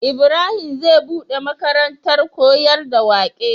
Ibrahim zai buɗe makarantar koyar da waƙe